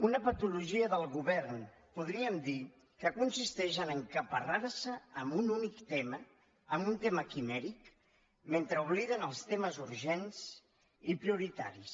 una patologia del govern podríem dir que consisteix a encaparrar se amb un únic tema un tema quimèric mentre obliden els temes urgents i prioritaris